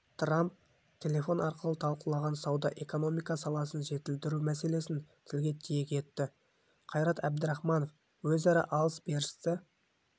трамп телефон арқылы талқылаған сауда-экономика саласын жетілдіру мәселесін тілге тиек етті қайрат әбдірахманов өзара алыс-берісті